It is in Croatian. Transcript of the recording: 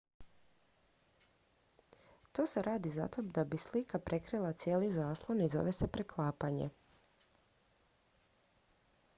to se radi zato da bi slika prekrila cijeli zaslon i zove se preklapanje